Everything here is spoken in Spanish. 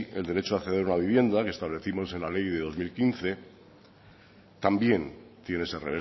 el derecho a acceder a la vivienda lo establecimos en la ley de dos mil quince también tiene ese